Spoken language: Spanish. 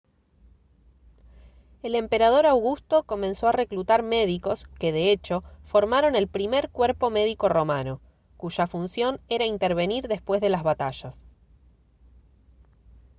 el emperador augusto comenzó a reclutar médicos que de hecho formaron el primer cuerpo médico romano cuya función era intervenir después de las batallas